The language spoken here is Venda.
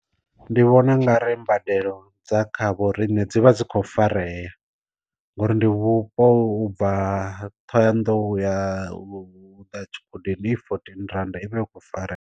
Ndi vhona u nga ri mbadelo dza kha vho rine dzi vha dzi kho farea, ngori ndi vhupo u bva thohoyandou ya u u ḓa tshi gudeni i fourteen rannda ivha i kho farea.